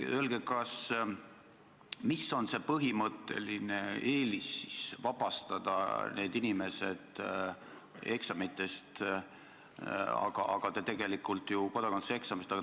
Öelge, miks on vaja seda põhimõttelist eelist vabastada need inimesed kodakondsuseksamist!